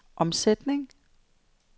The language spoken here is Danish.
omsætning